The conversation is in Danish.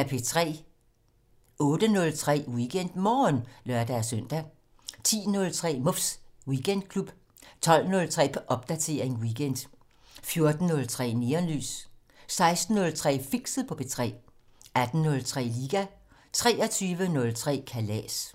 08:03: WeekendMorgen (lør-søn) 10:03: Muffs Weekendklub 12:03: Popdatering weekend 14:03: Neonlys 16:03: Fixet på P3 18:03: Liga 23:03: Kalas